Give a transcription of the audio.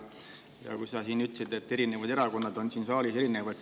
Sa ütlesid, et erinevad erakonnad on siin saalis erinevad.